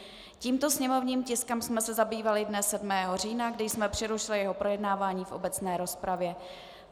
Tímto sněmovním tiskem jsme se zabývali dne 7. října, kdy jsme přerušili jeho projednávání v obecné rozpravě.